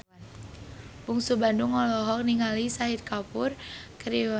Bungsu Bandung olohok ningali Shahid Kapoor keur diwawancara